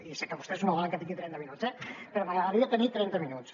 i sé que vostès no volen que tingui trenta minuts eh però m’agradaria tenir trenta minuts